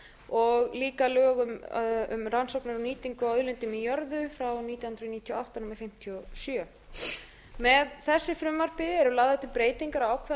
og líka lögum um rannsóknir og nýtingu á auðlindum í jörðu númer fimmtíu og sjö nítján hundruð níutíu og átta með þessu frumvarpi eru lagðar til breytingar á ákvæðum